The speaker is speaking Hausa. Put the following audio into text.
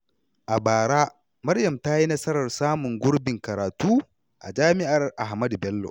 A bara, Maryam ta yi nasarar samun gurbin karatu a jami’ar Ahmadu Bello.